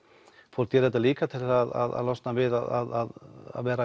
fólk gerir þetta líka til að losna við að vera